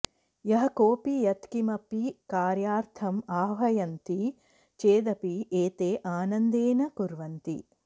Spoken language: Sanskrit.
यः कोऽपि यत्किमपि कार्यार्थम् आह्वयन्ति चेदपि एते आनन्देन कुर्वन्ति